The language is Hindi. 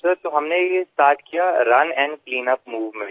सर तो हमने ये स्टार्ट किया रुन क्लीनअप मूवमेंट